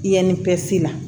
Yanni pɛsi la